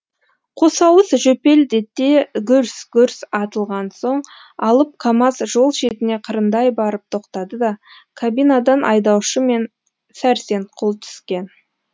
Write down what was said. қосауыз жөпелдете гүрс гүрс атылған соң алып камаз жол шетіне қырындай барып тоқтады да кабинадан айдаушы мен сәрсенқұл түскен